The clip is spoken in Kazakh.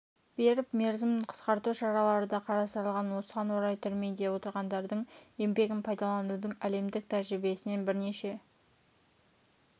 беріп мерзімін қысқарту шаралары да қарастырылған осыған орай түрмеде отырғандардың еңбегін пайдаланудың әлемдік тәжірибесінен бірнеше